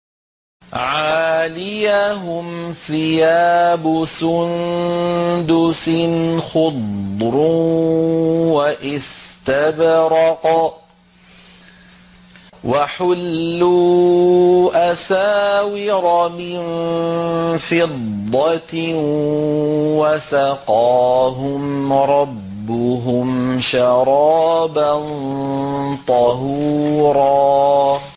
عَالِيَهُمْ ثِيَابُ سُندُسٍ خُضْرٌ وَإِسْتَبْرَقٌ ۖ وَحُلُّوا أَسَاوِرَ مِن فِضَّةٍ وَسَقَاهُمْ رَبُّهُمْ شَرَابًا طَهُورًا